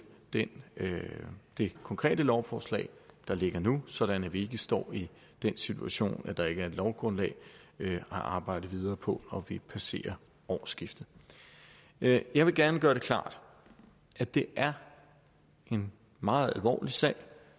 det det konkrete lovforslag der ligger nu sådan at vi ikke står i den situation at der ikke er et lovgrundlag at arbejde videre på når vi passerer årsskiftet jeg jeg vil gerne gøre det klart at det er en meget alvorlig sag